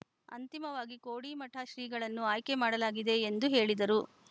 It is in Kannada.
ಅಂತಿಮವಾಗಿ ಕೋಡಿಮಠ ಶ್ರೀಗಳನ್ನು ಆಯ್ಕೆ ಮಾಡಲಾಗಿದೆ ಎಂದು ಹೇಳಿದರು